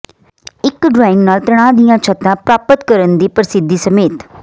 ਇੱਕ ਡਰਾਇੰਗ ਨਾਲ ਤਣਾਅ ਦੀਆਂ ਛੱਤਾਂ ਪ੍ਰਾਪਤ ਕਰਨ ਦੀ ਪ੍ਰਸਿੱਧੀ ਸਮੇਤ